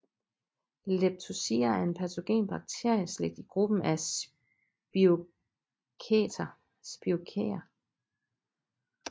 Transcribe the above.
Leptospira er en patogen bakterieslægt i gruppen af spirokæter